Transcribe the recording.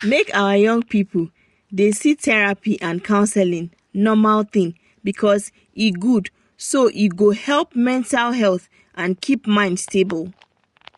make our young people dey see therapy and counseling normal thing because e good so e go help mental health and keep mind stable.